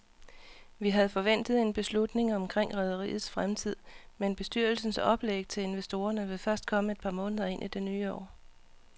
Vi havde forventet en beslutning omkring rederiets fremtid, men bestyrelsens oplæg til investorerne vil først komme et par måneder ind i det nye år.